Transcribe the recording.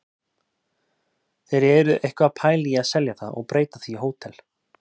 Þeir eru eitthvað að pæla í að selja það og breyta því í hótel.